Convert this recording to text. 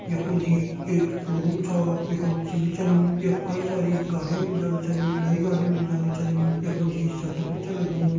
यख मा जी एक शोरूम च यफुन सीड़ी च यख कई साड़ी गाड़ियां मिल जांदी छिन नई गाड़ी मिल जांदी छिन यख मा जी शटर भी छ लग्युं।